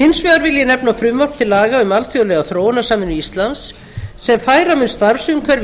hins vegar vil ég nefna frumvarp til laga um alþjóðlega þróunarsamvinnu íslands sem færa mun starfsumhverfi íslendinga